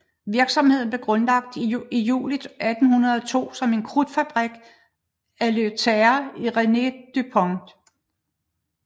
Virksomheden blev grundlagt i juli 1802 som en krudtfabrik af Eleuthère Irénée du Pont